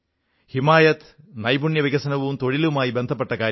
ഹിമായത് നൈപുണ്യവികസനവും തൊഴിലുമായി ബന്ധപ്പെട്ട കാര്യമാണ്